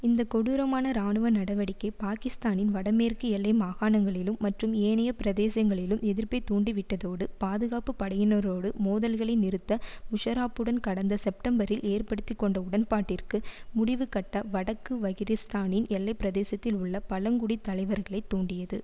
இந்த கொடூரமான இராணுவ நடவடிக்கை பாகிஸ்தானின் வட மேற்கு எல்லை மாகாணங்களிலும் மற்றும் ஏனைய பிரதேசங்களிலும் எதிர்ப்பை தூண்டிவிட்டதோடு பாதுகாப்பு படையினரோடு மோதல்களை நிறுத்த முஷராப்புடன் கடந்த செப்டெம்பரில் ஏற்படுத்தி கொண்ட உடன்பாட்டிற்கு முடிவுகட்ட வடக்கு வகிரிஸ்தானின் எல்லை பிரதேசத்தில் உள்ள பழங்குடி தலைவர்களை தூண்டியது